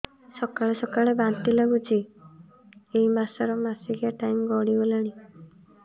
ସକାଳେ ସକାଳେ ବାନ୍ତି ଲାଗୁଚି ଏଇ ମାସ ର ମାସିକିଆ ଟାଇମ ଗଡ଼ି ଗଲାଣି